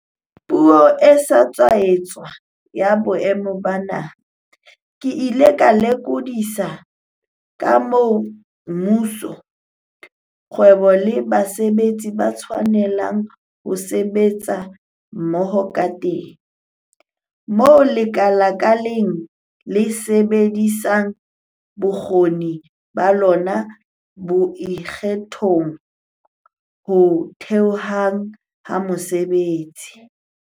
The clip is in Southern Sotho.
Puong e sa tswa etswa ya Boemo ba Naha, ke ile ka lokodisa ka moo mmuso, kgwebo le basebetsi ba tshwanelang ho sebetsa mmoho kateng, moo lekala ka leng le sebedisang bokgoni ba lona bo ikgethang ho theheng mesebetsi.